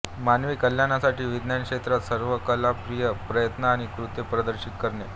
मानवी कल्याणासाठी विज्ञान क्षेत्रात सर्व क्रियाकलाप प्रयत्न आणि कृत्ये प्रदर्शित करणे